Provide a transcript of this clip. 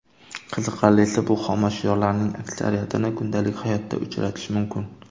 Qiziqarlisi, bu xomashyolarning aksariyatini kundalik hayotda uchratish mumkin.